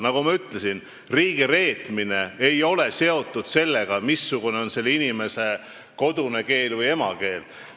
Nagu ma ütlesin, riigireetmine ei ole seotud sellega, missugune on selle inimese kodune keel või emakeel.